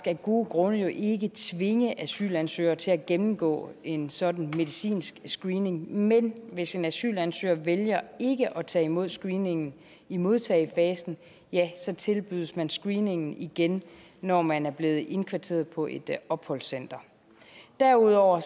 af gode grunde ikke tvinge asylansøgere til at gennemgå en sådan medicinsk screening men hvis en asylansøger vælger ikke at tage imod screeningen i modtagefasen tilbydes man screeningen igen når man er blevet indkvarteret på et opholdscenter derudover